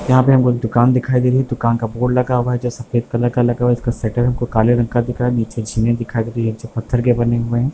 यहाँ पर हमको दुकान दिखाई दे रही है दुकान का बोर्ड लगा हुआ है जो सफ़ेद कलर का लगा हुआ है उसका शटर है जो काले रंग का दिख रहा है नीचे जमीनें दिखाई दे रही है जो पत्थर के बने हुए हैं।